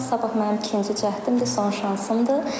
Sabah mənim ikinci cəhdimdir, son şansımdır.